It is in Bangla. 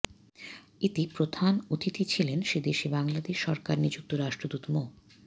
এতে প্রধান অতিথি ছিলেন সেদেশে বাংলাদেশ সরকার নিযুক্ত রাষ্ট্রদূত মো